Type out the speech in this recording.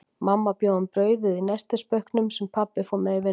Mamma bjó um brauðið í nestisbauknum, sem pabbi fór með í vinnuna.